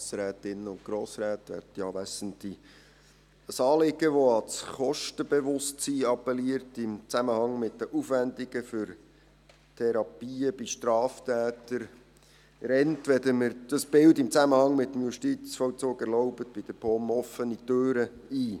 Ein Anliegen, das an das Kostenbewusstsein im Zusammenhang mit den Aufwendungen für Therapien bei Straftätern appelliert, rennt – wenn Sie mir dieses Bild im Zusammenhang mit dem Justizvollzug erlauben – bei der POM offene Türen ein.